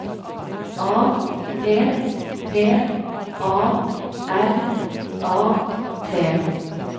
A P P A R A T